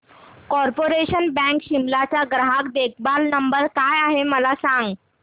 corporation bank Shimla चा ग्राहक देखभाल नंबर काय आहे मला सांग